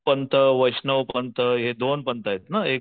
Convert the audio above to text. पंत वैष्णव पंत हे दोन पंतयेत ना